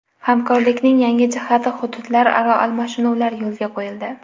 Hamkorlikning yangi jihati hududlararo almashinuvlar yo‘lga qo‘yildi.